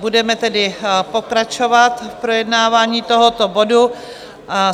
Budeme tedy pokračovat v projednávání tohoto bodu.